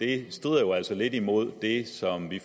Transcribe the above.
det strider jo altså lidt imod det som vi